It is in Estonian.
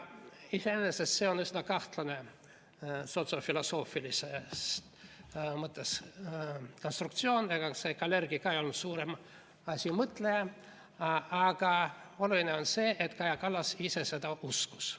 Iseenesest on see sotsiaalfilosoofilises mõttes üsna kahtlane konstruktsioon – ega see Kalergi ka ei olnud suurem asi mõtleja –, aga oluline on see, et Kaja Kallas ise seda uskus.